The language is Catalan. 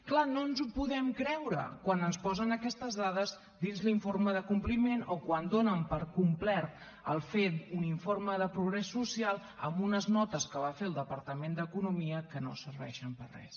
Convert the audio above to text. clar no ens ho podem creure quan ens posen aquestes dades dins l’informe de compliment o quan donen per complert fer un informe de progrés social amb unes notes que va fer el departament d’economia que no serveixen per a res